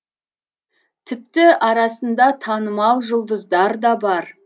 тіпті арасында танымал жұлдыздар да бар